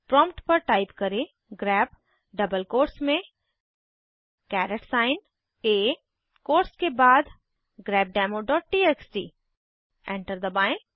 prompt पर type करें grep double quotes में कैरेट साइन आ कोट्स के बाद grepdemoटीएक्सटी एंटर दबाएं